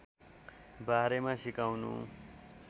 बारेमा सिकाउनु